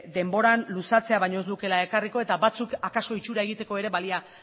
denboran luzatzea baino ez lukeela ekarriko eta batzuk akaso itxura egiteko ere balia